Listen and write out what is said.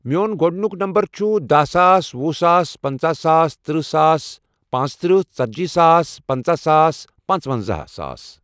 میون گۄڈنیُک نمبر چھُ دہ ساس، وُہ ساس، پنژٕہ ساس، ترٕٛہ ساس، پانٛژھ ترٕٛہ، ژتجی ساس، پنژہ ساس پانٛژونزہ ساس۔